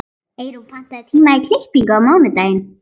Eyrún, pantaðu tíma í klippingu á mánudaginn.